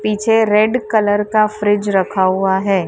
पीछे red colour का fridge रखा हुआ है।